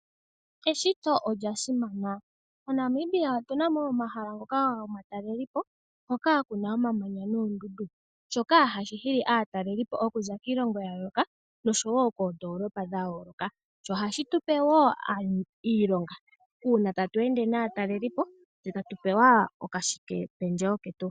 Eshito olya simana. MoNamibia otu na wo omahala ngoka gomateleli po hoka ku na omamanya noondundu, shoka hashi hili aataleli po okuza kiilongo ya yooloka oshowo koondolopa dha yooloka, sho ohashi tu pe wo iilonga, uuna tatu ende naataleli po tse tatu pewa oka shike pendjewo ketu.